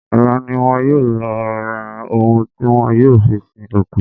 Ọ̀la ni wọn yóò lọ ra ohun tí wọ́n yóò fi sin òkú.